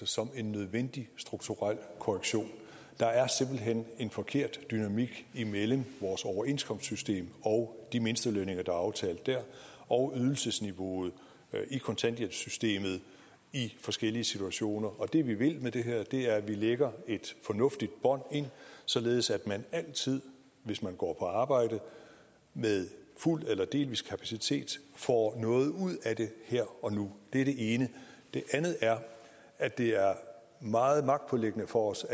som en nødvendig strukturel korrektion der er simpelt hen en forkert dynamik imellem vores overenskomstsystem og de mindstelønninger der er aftalt der og ydelsesniveauet i kontanthjælpssystemet i forskellige situationer og det vi vil med det her er at lægge et fornuftigt bånd ind således at man altid hvis man går på arbejde med fuld eller delvis kapacitet får noget ud af det her og nu det er det ene det andet er at det er meget magtpåliggende for os